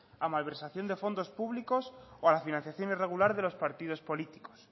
a malversación de fondos públicos o a la financiación irregular de los partidos políticos